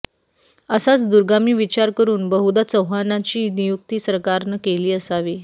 असाच दूरगामी विचार करून बहुधा चौहानांची नियुक्ती सरकारनं केली असावी